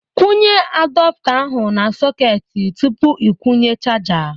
Kwụnye adapta ahụ na sọketị tupu ị kwụnye chaja